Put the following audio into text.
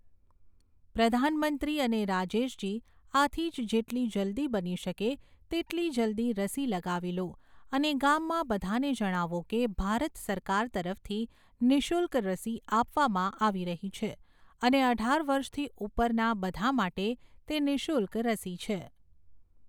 પ્રધાનમંત્રી અને રાજેશજી, આથી જ જેટલી જલદી બની શકે તેટલી જલદી રસી લગાવી લો અને ગામમાં બધાને જણાવો કે ભારત સરકાર તરફથી નિઃશુલ્ક રસી આપવામાં આવી રહી છે અને અઢાર વર્ષથી ઉપરના બધા માટે તે નિઃશુલ્ક રસી છે.